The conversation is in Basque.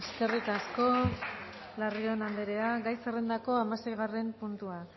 eskerrik asko larrion anderea gai zerrendako hamaseigarren puntua